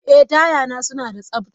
Ee, taya na suna da tsabta.